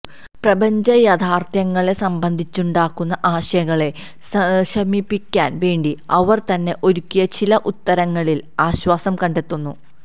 പ്രപഞ്ചയാഥാര്ത്ഥ്യങ്ങളെ സംബന്ധിച്ചുണ്ടാകുന്ന ആശങ്കകളെ ശമിപ്പിക്കാന് വേണ്ടി അവര് തന്നെ ഒരുക്കിയ ചില ഉത്തരങ്ങളില് ആശ്വാസം കണ്ടെത്തുന്നു